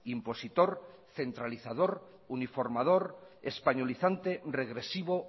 impositor centralizador uniformador españolizante regresivo